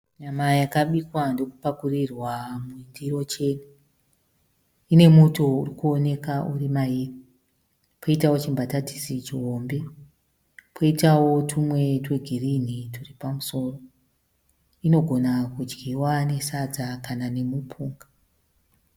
Nyama yakabikwa ndokupakurirwa mundiro chena. Ine muto uri kuonekwa uri mairi, poitawo chimbatatisi chihombe, poitawo tumwe twegirini turi pamusoro. Inogona kudyiwa nesadza kana nemupunga.